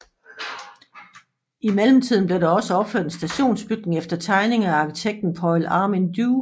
I mellemtiden blev der også opført en stationsbygning efter tegninger af arkitekten Paul Armin Due